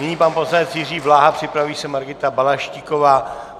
Nyní pan poslanec Jiří Bláha, připraví se Margita Balaštíková.